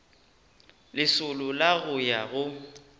lesolo la go ya go